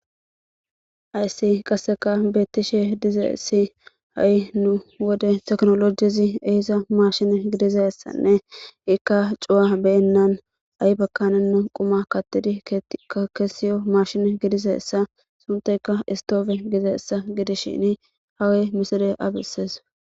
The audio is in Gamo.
Hayssi qasseka beettishe dize essi ha7i nu wode teknolojizi eesa mashin gidizessanne ikka cuwa beyennan ay bakanenna quma kattidi kesiyo mashine gidizeessa sunteyka istoofe gizeessa gidishini hawe misire abisees